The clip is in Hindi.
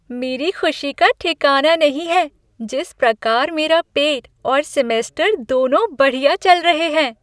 मेरी खुशी का ठिकाना नहीं है जिस प्रकार मेरा पेट और सेमेस्टर दोनों बढ़िया चल रहे हैं।